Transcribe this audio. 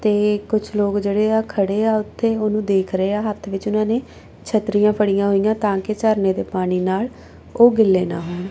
ਤੇ ਕੁਝ ਲੋਕ ਜਿਹੜੇ ਆ ਖੜੇ ਆ ਉੱਥੇ ਉਹਨੂੰ ਦੇਖ ਰਹੇ ਆ ਹੱਥ ਵਿੱਚ ਉਹਨਾਂ ਨੇ ਛਤਰੀਆਂ ਫੜੀਆਂ ਹੋਈਆਂ ਤਾਂ ਕਿ ਝਰਨੇ ਦੇ ਪਾਣੀ ਨਾਲ ਉਹ ਗਿੱਲੇ ਨਾ ਹੋਣ।